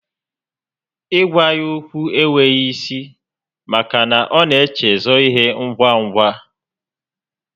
Ị gwa ya okwu e nweghi isi maka na ọ na echezọ ihe ngwa ngwa